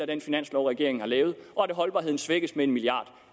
den finanslov regeringen har lavet og at holdbarheden svækkes med en milliard